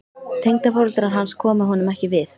Tengdaforeldrar hans komu honum ekki við.